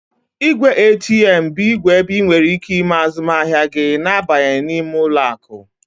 Ìgwè ATM bụ igwe ebe ị nwèrè ike ime azụmahịa gị na abanyeghị n'ime ụlọ akụ